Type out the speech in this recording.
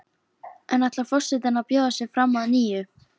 En ætlar forsetinn að bjóða sig fram að nýju?